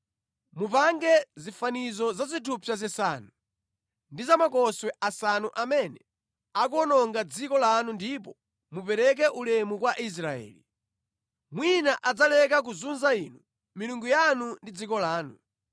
Mupange zifanizo za zithupsa zisanu ndi za makoswe asanu amene akuwononga dziko lanu ndipo mupereke ulemu kwa Israeli. Mwina adzaleka kuzunza inu, milungu yanu ndi dziko lanu.